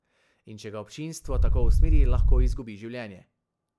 In če ga občinstvo tako usmeri, lahko izgubi življenje.